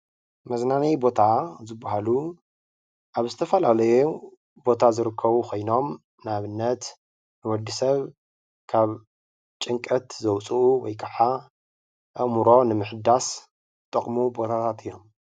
መዝናናዪ ቦታ ዝበሃሉ ኣብ ዝተፈላለዩ ቦታ ዝርከቡ ኮይኖም ንኣብነት ንወዲ ሰብ ካብ ጭንቀት ዘውፅኡ ወይ ከዓ ኣእምሮ ንምሕዳስ ዝጠቕሙ ቦታታት እዮም።